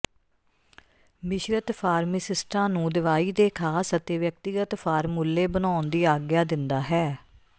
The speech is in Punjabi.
ਮਿਸ਼ਰਤ ਫਾਰਮਾਿਸਸਟਾਂ ਨੂੰ ਦਵਾਈ ਦੇ ਖ਼ਾਸ ਅਤੇ ਵਿਅਕਤੀਗਤ ਫ਼ਾਰਮੂਲੇ ਬਣਾਉਣ ਦੀ ਆਗਿਆ ਦਿੰਦਾ ਹੈ